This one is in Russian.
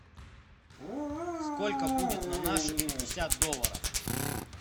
сколько будет на наши пятьдесят долларов